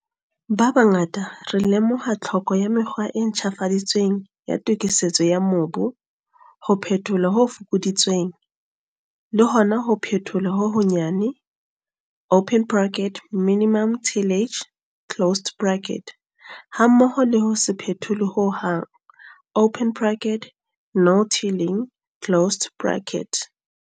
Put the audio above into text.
Ba bangata re lemoha tlhoko ya mekgwa e ntjhafaditsweng ya tokisetso ya mobu - ho phetholwa ho fokoditsweng, le hona ho phetholwa ho honyane, minimum tillage, hammoho le ho se phetholwe ho hang, no-tilling.